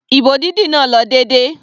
Ìbò dídì náà lọ déédéé.